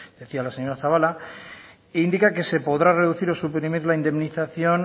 decía la señora zabala indica que se podrá reducir o suprimir la indemnización